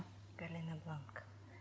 галина бланка